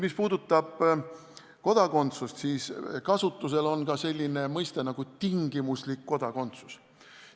Mis puudutab aga kodakondsust, siis kasutusel on ka selline mõiste nagu "tingimuslik kodakondsus".